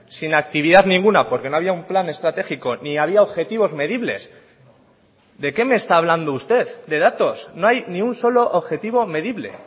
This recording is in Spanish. sin actividad ninguna porque no había un plan estratégico ni había objetivos medibles de qué me está hablando usted de datos no hay ni un solo objetivo medible